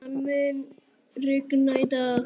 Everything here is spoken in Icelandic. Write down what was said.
Nathan, mun rigna í dag?